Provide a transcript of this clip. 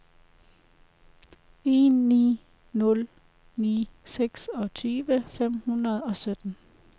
en ni nul ni seksogtyve fem hundrede og sytten